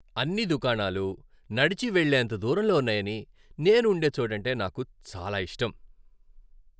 అన్ని దుకాణాలు నడిచి వెళ్ళేంత దూరంలో ఉన్నాయని నేను ఉండే చోటంటే నాకు చాలా ఇష్టం.